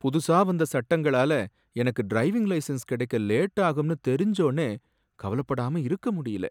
புதுசா வந்த சட்டங்களால எனக்கு டிரைவிங் லைசென்ஸ் கடெக்க லேட் ஆகும்னு தெரிஞ்சஒன்னே கவலைப்படாம இருக்க முடியல.